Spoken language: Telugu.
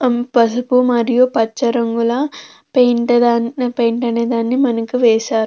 పసుపు మరియు పచ్చ రంగుల పెయింట్ దన్ పెయింట్ అనేదాన్ని వేశారు.